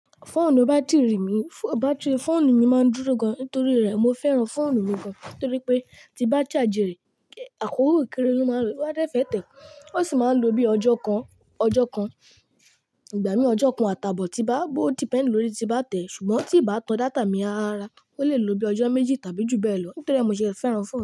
Foonu batiri mi, foonu mi ma duro gan nitori re mo feran foonu mi gan nitori pe ti ba charge re akoko kere lo ma lo, o ba de fe te, o si ma lo bi ojo kan, ojo kan, igba mi ojo kan ata bo ti ba o depend lori ti ba te sugbon ti ba tan data mi ara o le lo bi ojo meji tabi ju beelo nitori mo se feran foonu.